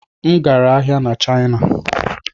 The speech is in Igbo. M gara ahịa na Shina